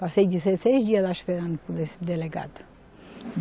Passei dezesseis dias lá esperando por esse delegado.